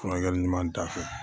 Furakɛli ɲuman da fɛ